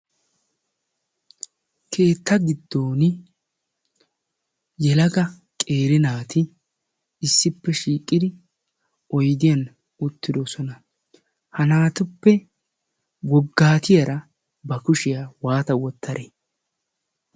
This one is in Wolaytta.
keetta giddon yelaga qeeri naati issippe shiiqqidi oidiyan uttidoosona. ha naatuppe woggaatiyaara ba kushiyaa waata wottadee?